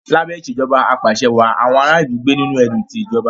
Lábé Ìṣèjọba Ap'àṣẹwàá, àwọn ará ìlú gbé nínú ẹ̀rù ti ìjọba